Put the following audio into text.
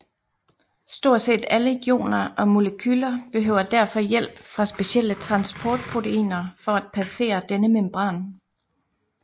Stort set alle ioner og molekyler behøver derfor hjælp fra specielle transportproteiner for at passere denne membran